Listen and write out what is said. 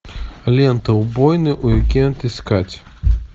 лента убойный уикенд искать